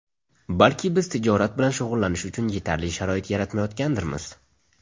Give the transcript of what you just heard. Balki biz tijorat bilan shug‘ullanish uchun yetarli sharoit yaratmayotgandirmiz?